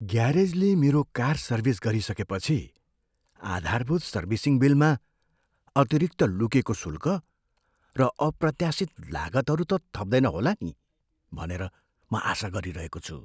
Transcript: ग्यारेजले मेरो car service गरिसकेपछि आधारभूत सर्भिसिङ बिलमा अतिरिक्त लुकेको शुल्क र अप्रत्याशित लागतहरू त थप्दैन होला नि भनेर म आशा गरिरहेको छु।